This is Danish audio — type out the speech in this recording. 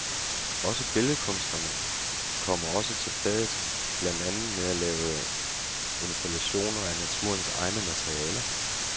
Og billedkunsterne kommer også til fadet, blandt andet med at lave installationer af naturens egne materialer.